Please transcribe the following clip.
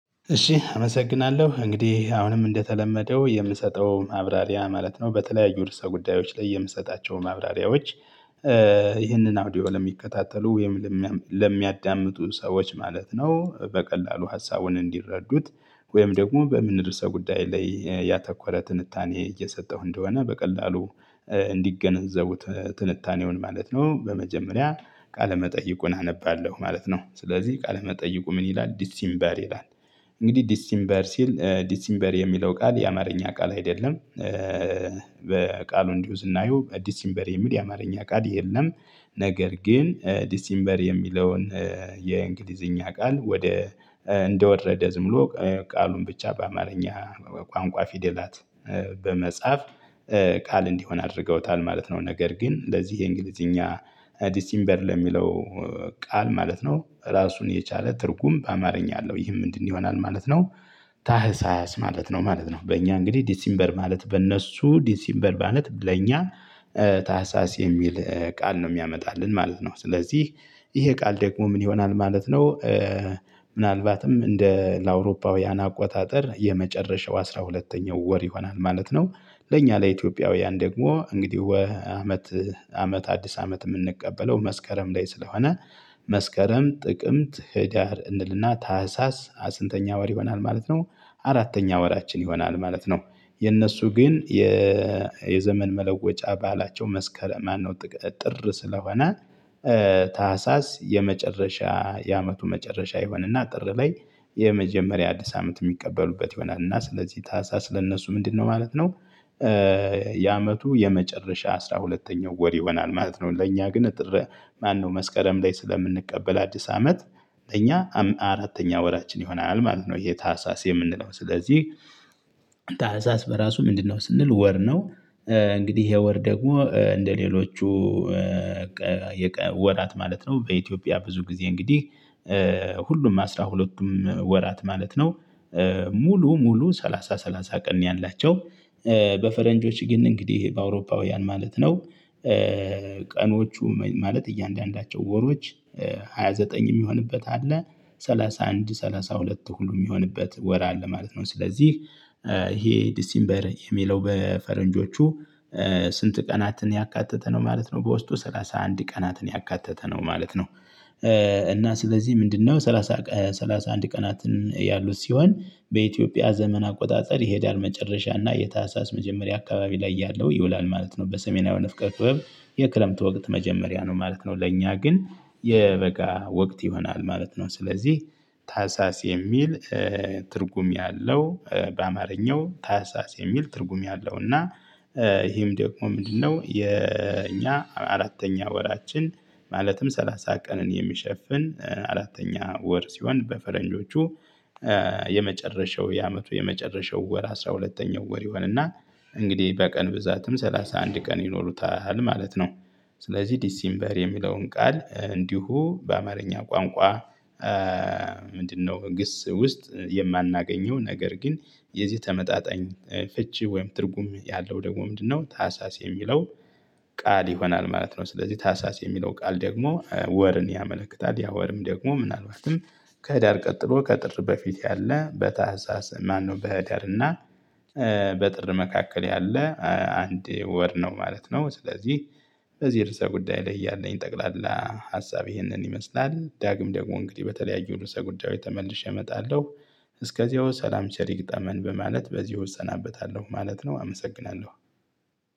እሺ አመሰግናለሁ እንግዲህ አሁንም እንደተለመደው የምሰጠው ማብራሪያ ማለት ነው በተለያዩ ርዕሰ ጉዳዮች ላይ የምሰጣቸው ማብራሪያዎች። ይህንን አውዲዮ ለሚከታተሉ ወይም ለሚያዳምጡ ሰዎች ማለት ነው በቀላሉ ሀሳቡን እንዲረዱት ወይም ደግሞ በምን ርዕሰ ጉዳይ ላይ ያተኮረ ትንታኔ እየሰጠሁ እንደሆነ በቀላሉ እንዲገነዘቡት ትንታኔውን ማለት ነው። በመጀመሪያ ቃለ መጠይቁን አነባለሁ ማለት ነው ስለዚህ ቃለ መጠይቁ ምን ይላል ዲሲምበር ይላል? እንግዲህ ዲሲምበር ሲል ዲሲምበር የሚለው ቃል የአማርኛ ቃል አይደለም። በቃሉ እንዲሁ ስናየው ዲሲምበር የሚል የአማርኛ ቃል የለም። ነገር ግን ዲሲምበር የሚለውን የእንግሊዝኛ ቃል ወደ እንደወረደ ዝምሎ ቃሉን ብቻ በአማርኛ ቋንቋ ፊደላት በመጽሐፍ ቃል እንዲሆን አድርገውታል ማለት ነው። ነገር ግን ለዚህ የእንግሊዝኛ ዲሲምበር ለሚለው ቃል ማለት ነው ራሱን የቻለ ትርጉም በአማርኛ አለው ይህም ምንድነው ይሆናል ማለት ነው? ታህሳስ ማለት ነው ማለት ነው በእኛ እንግዲህ ዲሲምበር ማለት በእነሱ ዲሲምበር ማለት ለእኛ ታህሳስ የሚል ቃል ነው የሚያመጣልን ማለት ነው። ስለዚህ ይሄ ቃል ደግሞ ምን ይሆናል ማለት ነው? ምናልባትም እንደ ለአውሮፓውያን አቆጣጠር የመጨረሻው አስራ ሁለተኛው ወር ይሆናል ማለት ነው። ለእኛ ለኢትዮጵያውያን ደግሞ እንግዲህ ወ አመት አመት አዲስ አመት የምንቀበለው መስከረም ላይ ስለሆነ መስከረም ጥቅምት ህዳር እንልና ታህሳስ አ ስንተኛ ወር ይሆናል ማለት ነው? አራተኛ ወራችን ይሆናል ማለት ነው። የእነሱ ግን የዘመን መለወጫ ባአላቸው መስከረም ማነው? ጥቅ ጥር ስለሆነ ታህሳስ የመጨረሻ የአመቱ መጨረሻ ይሆናን እና ጥር ላይ የመጀመሪያ አዲስ አመት የሚቀበሉበት ይሆናል እና ስለዚህ ታህሳስ ለእነሱ ምንድነው ማለት ነው? የአመቱ የመጨረሻ አስራ ሁለተኛው ወር ይሆናል ማለት ነው። ለእኛ ግን ጥር ማነው መስከረም ላይ ስለምንቀበል አዲስ አመት እኛ አራተኛ ወራችን ይሆናል ማለት ነው። ይሄ ታህሳስ የምንለው ስለዚህ ታህሳስ በራሱ ምንድነው ስንል ወር ነው። እንግዲህ ይሄ ወር ደግሞ እንደሌሎቹ ወራት ማለት ነው በኢትዮጵያ ብዙ ጊዜ እንግዲህ ሁሉም አስራ ሁለቱም ወራት ማለት ነው። ሙሉ ሙሉ ሰላሳ ሰላሳ ቀን ነው ያላቸው። በፈረንጆች ግን እንግዲህ በአውሮፓውያን ማለት ነው። ቀኖቹ ማለት እያንዳንዳቸው ወሮች ሃያ ዘጠኝ የሚሆንበት አለ ሰላሳ አንድ ሰላሳ ሁለት ሁሉ የሚሆንበት ወር አለ ማለት ነው። ስለዚህ ይሄ ዲሲምበር የሚለው በፈረንጆቹ ስንት ቀናትን ያካተተ ነው ማለት ነው? በውስጡ ሰላሳ አንድ ቀናትን ያካተተ ነው ማለት ነው። እና ስለዚህ ምንድነው ሰላሳ ሰላሳ አንድ ቀናትን ያሉት ሲሆን በኢትዮጵያ ዘመን አቆጣጠር ይሄዳል መጨረሻና የታህሳስ መጀመሪያ አካባቢ ላይ ያለው ይውላል ማለት ነው። በሰሜናዊ ንፍቀ ክበብ የክረምት ወቅት መጀመሪያ ነው ማለት ነው። ለእኛ ግን የበጋ ወቅት ይሆናል ማለት ነው። ስለዚህ ታህሳስ የሚል ትርጉም ያለው በአማርኛው ታህሳስ የሚል ትርጉም ያለው እና ይሄም ደግሞ ምንድነው የኛ አራተኛ ወራችን ማለትም ሰላሳ ቀንን የሚሸፍን አራተኛ ወር ሲሆን በፈረንጆቹ የመጨረሻው የአመቱ የመጨረሻው ወር አስራ ሁለተኛው ወር ይሆንና እንግዲህ በቀን ብዛትም ሰላሳ አንድ ቀን ይኖሩታል ማለት ነው። ስለዚህ ዲሲምበር የሚለውን ቃል እንዲሁ በአማርኛ ቋንቋ። ምንድነው ግስ ውስጥ የማናገኘው ነገር ግን የዚህ ተመጣጣኝ ፍቺ ወይም ትርጉም ያለው ደግሞ ምንድነው ታህሳስ የሚለው ቃል ይሆናል ማለት ነው? ስለዚህ ታህሳስ የሚለው ቃል ደግሞ ወርን ያመለክታል ያ ወርም ደግሞ ምናልባትም ከህዳር ቀጥሎ ከጥር በፊት ያለ በታህሳስ ማነው በህዳር እና በጥር መካከል ያለ አንድ ወር ነው ማለት ነው። ስለዚህ በዚህ ርዕሰ ጉዳይ ላይ ያለኝ ጠቅላላ ሀሳብ ይህንን ይመስላል። ዳግም ደግሞ እንግዲህ በተለያዩ ርዕሰ ጉዳዮች ተመልሼ እመጣለሁ። እስከዚያው ሰላም ቸር ይግጠመን በማለት በዚህ እሰናበታለሁ ማለት ነው። አመሰግናለሁ።